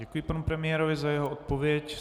Děkuji panu premiérovi za jeho odpověď.